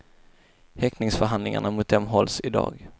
Häktningsförhandlingar mot dem hålls i dag.